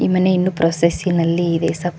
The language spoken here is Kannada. ಈ ಮನೆ ಇನ್ನು ಪ್ರೋಸಸಿನಲ್ಲಿ ಇದೆ ಸಪ್--